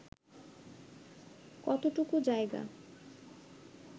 কতটুকু জায়গা